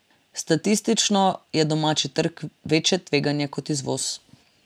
Statistično je domači trg večje tveganje kot izvoz.